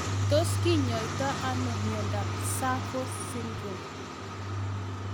Tos kinyoitoi ano miondop SAPHO Syndrome